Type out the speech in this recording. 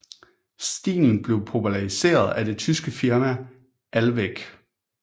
Stilen blev populariseret af det tyske firma ALWEG